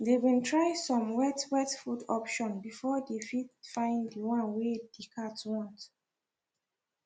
they been try some wet wet food option before they fit fine the one wey the cat want